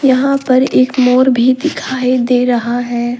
यहां पर एक मोर भी दिखाई दे रहा है।